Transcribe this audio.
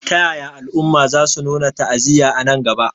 Ta yaya al'umma za su nuna ta'aziyya a nan gaba?